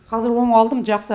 қазір оңалдым жақсы